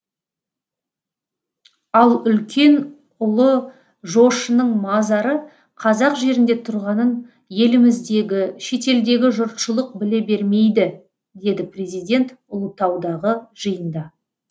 ал үлкен ұлы жошының мазары қазақ жерінде тұрғанын еліміздегі шетелдегі жұртшылық біле бермейді деді президент ұлытаудағы жиында